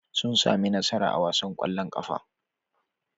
Sun sami nasara a wasan ƙwallon ƙafa.